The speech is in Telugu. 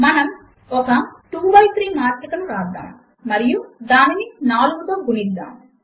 మనము ఒక 2 బై 3 మాత్రిక ను వ్రాద్దాము మరియు దానిని 4 తో గుణిద్దాము